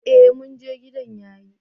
Ee mun je, gidan yayi.